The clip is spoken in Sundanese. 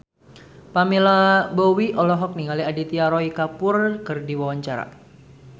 Pamela Bowie olohok ningali Aditya Roy Kapoor keur diwawancara